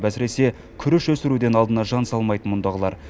әсіресе күріш өсіруден алдына жан салмайды мұндағылар